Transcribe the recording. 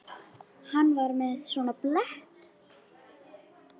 Hann var með svona blett.